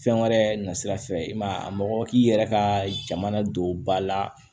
Fɛn wɛrɛ nasira fɛ i ma a mɔgɔ k'i yɛrɛ ka jamana don ba la